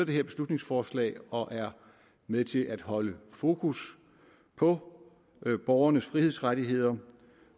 det her beslutningsforslag og er med til at holde fokus på borgernes frihedsrettigheder